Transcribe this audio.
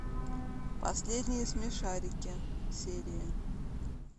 последние смешарики серии